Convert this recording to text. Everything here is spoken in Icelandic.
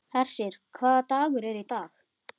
Hersir, hvaða dagur er í dag?